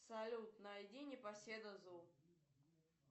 салют найди непоседа зу